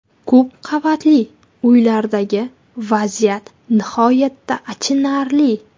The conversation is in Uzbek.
Ko‘p qavatli uylardagi vaziyat nihoyatda achinarli.